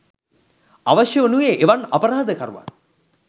අවශ්‍ය වනුයේ එවන් අපරාධ කරුවන්